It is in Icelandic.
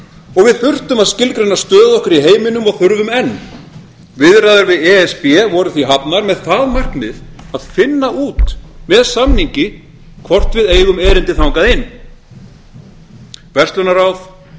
og við þurftum að skilgreina stöðu okkar í heiminum og þurfum enn viðræður við e s b voru því hafnar með það markmið að finna út með samningi hvort við eigum erindi þangað inn verslunarráðið